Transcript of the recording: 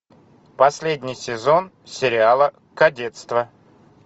последний сезон сериала кадетство